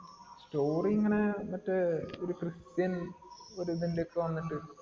Story ഇങ്ങിനെ മറ്റേ ഒരു ക്രിസ്ത്യൻ ഒരുതിന്റെ ഒക്കെ വന്നിട്ടു